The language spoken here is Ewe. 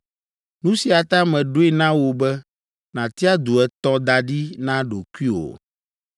Nu sia ta meɖoe na wò be nàtia du etɔ̃ da ɖi na ɖokuiwò.